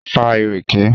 A ń fa ìrèké